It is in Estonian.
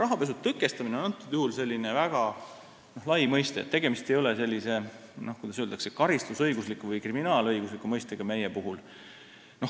Rahapesu tõkestamine on siinsel juhul väga lai mõiste, tegemist ei ole meie puhul sellise, kuidas öeldakse, karistusõigusliku või kriminaalõigusliku mõistega.